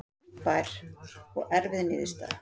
Þungbær og erfið niðurstaða